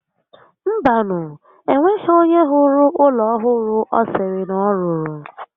Mba nu, enweghi onye hụrụ ụlọ ọhụrụ ọ sịrị na ọ rụrụ